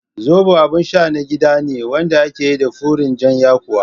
Zobo abin sha na gida ne wanda ake yi da furen jan yakuwa